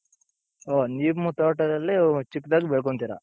ಓ ನಿಮ್ಮ ತೋಟದಲ್ಲಿ ಚಿಕ್ದಾಗಿ ಬೆಳ್ಕೊಂತೀರ.